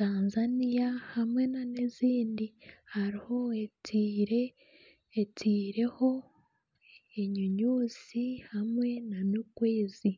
Tanzania hamwe nana ezindi hariho etaireho enyonyozi hamwe nana okwezi